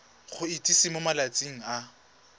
go itsise mo malatsing a